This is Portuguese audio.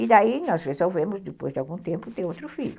E daí nós resolvemos, depois de algum tempo, ter outro filho.